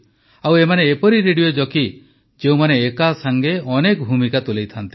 ଆଉ ଏମାନେ ଏପରି ରେଡିଓ ଜକି ଯେଉଁମାନେ ଏକାସାଂଗେ ଅନେକ ଭୂମିକା ତୁଲାଇଥାନ୍ତି